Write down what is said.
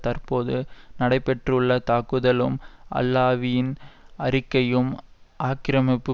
தற்போது நடைபெற்றுள்ள தாக்குதலும் அல்லாவியின் அறிக்கையும் ஆக்கிரமிப்பு